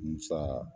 Musa